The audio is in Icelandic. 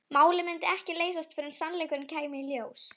Málið myndi ekki leysast fyrr en sannleikurinn kæmi í ljós.